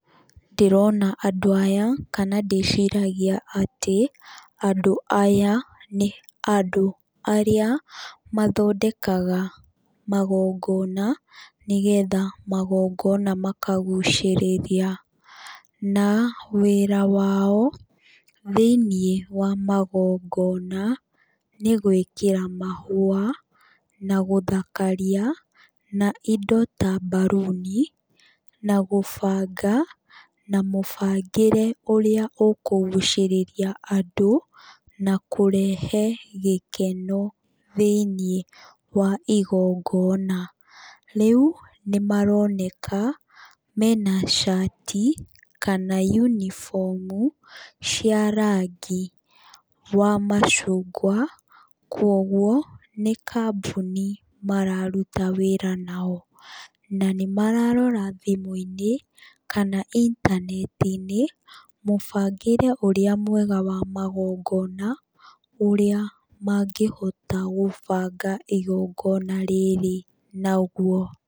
Ndĩrona andũ aya, kana ndĩciragia atĩ, andũ aya, nĩ andũ arĩa, mathondekaga magongona, nĩgetha magongona makagucĩrĩria. Na wĩra wao, thĩiniĩ wa magongona, nĩ gwĩkĩra mahũa, na gũthakaria, na indo ta mbaruni, na gũbanga, na mũbangĩre ũrĩa ũkũgucĩrĩria andũ, na kũrehe gĩkeno thĩiniĩ wa igongona. Rĩu, nĩ maroneka mena cati, kana yunibomu, cia rangi wa macungwa. Kwoguo, nĩ kambuni mararuta wĩra nao. Na nĩ mararora thimũ-inĩ, kana intaneti-inĩ, mũbangĩre ũrĩa mwega wa magongona, ũrĩa mangĩhota gũbanga igongona rĩrĩ naguo.